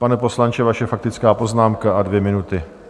Pane poslanče, vaše faktická poznámka a dvě minuty.